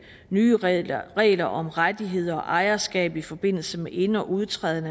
nye regler regler om rettigheder og ejerskab i forbindelse med ind og udtræden